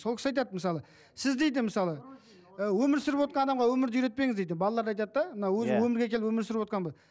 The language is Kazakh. сол кісі айтады мысалы сіз дейді мысалы і өмір сүріп отырған адамға өмірді үйретпеңіз дейді балаларды айтады да мына өзі өмірге келіп өмір сүріп отырған